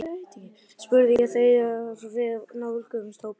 spurði ég þegar við nálguðumst hópinn.